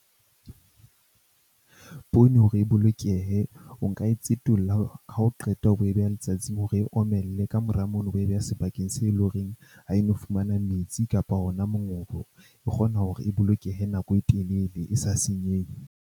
Poone hore e bolokehe, o nka e tsetolla ha o qeta o bo e beha letsatsing hore e omelle. Kamora mono, o bo e beha sebakeng se eleng horeng ha e no fumana metsi kapa ona mongobo. E kgona hore e bolokehe nako e telele e sa senyehe.